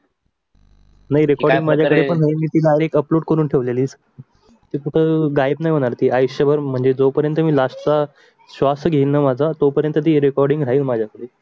नाही recording मध्ये upload करून ठेवल मी तीतून गायब नाही होणार ती आयुष्यभर म्हणजे जोपर्यन मी लास्ट चा स्वास घेईन माझा तोपर्यंत ती recording राहील माझ्याकडे.